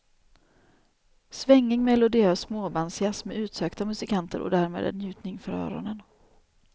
Svängig, melodiös småbandsjazz med utsökta musikanter och därmed en njutning för öronen.